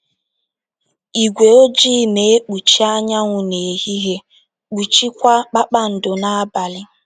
Ígwé ojii na - ekpuchi anyanwụ n’ehihie, kpuchiekwa kpakpando n’abalị.